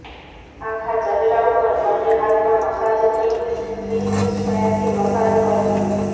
આખા ચહેરા ઉપર બંને હાથમાં મસાજ ક્રીમ ફિશ સ્ટાઈલથી મસાજ કરવું